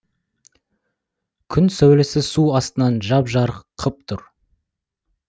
күн сәулесі су астын жап жарық қып тұр